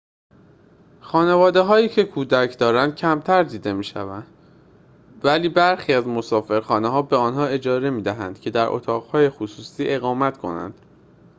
خانواده‌هایی که کودک دارند کمتر دیده می‌شود ولی برخی از مسافرخانه‌ها به آنها اجازه می‌دهند که در اتاق‌های خصوصی اقامت کنند